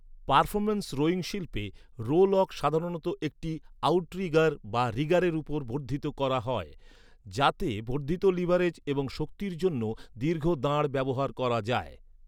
Performance rowing শিল্পে, rowlock সাধারণত একটি আউটরিগার বা রিগারের উপর বর্ধিত করা হয়, যাতে বর্ধিত লিভারেজ এবং শক্তির জন্য দীর্ঘ দাঁড় ব্যবহার করা যায়।